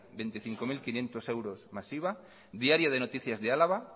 veinticinco mil quinientos euros más iva diario de noticias de álava